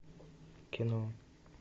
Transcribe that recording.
кино